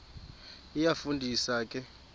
iyafu ndisa ke